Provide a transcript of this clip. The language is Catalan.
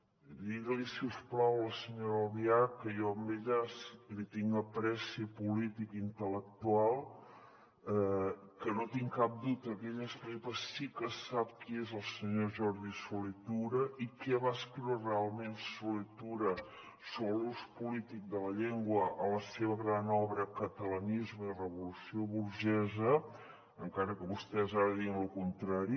digues li si us plau a la senyora albiach que jo a ella li tinc estima política i intel·lectual que no tinc cap dubte que ella sí que sap qui és el senyor jordi solé tura i què va escriure realment solé tura sobre l’ús polític de la llengua a la seva gran obra catalanisme i revolució burgesa encara que vostès ara diguin lo contrari